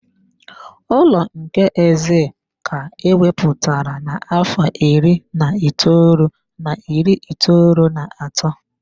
Ụlọ nke Exile ka a ewepụtara n'afọ iri na itoolu na iri itoolu na atọ.